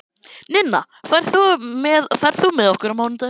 Ninna, ferð þú með okkur á mánudaginn?